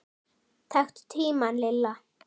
Taktu tímann Lilla!